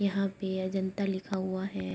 यहां पे अजंता लिखा हुआ है।